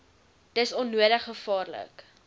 dis onnodig gevaarlik